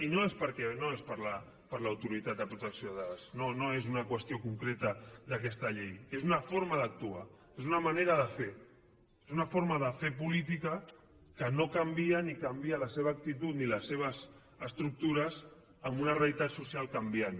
i no és per l’autoritat de protecció de dades no és una qüestió concreta d’aquesta llei és una forma d’actuar és una manera de fer és una forma de fer política que no canvia ni canvia la seva actitud ni les seves estructures amb una realitat social canviant